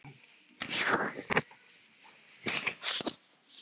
hermdi hún.